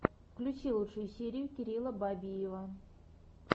включи лучшую серию кирилла бабиева